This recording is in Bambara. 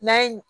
N'a ye